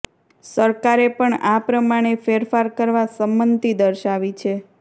સરકારે પણ આ પ્રમાણે ફેરફાર કરવા સંમતિ દર્શાવી છે